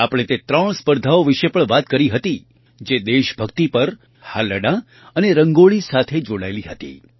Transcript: આપણે તે ત્રણ સ્પર્ધાઓ વિશે પણ વાત કરી હતી જે દેશભક્તિ પર હાલરડાં અને રંગોળી સાથે જોડાયેલી હતી